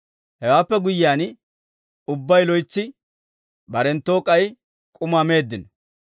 Hewaappe guyyiyaan ubbay loytsi, barenttoo k'ay k'umaa meeddino.